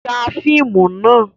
Ya fíìmù nà!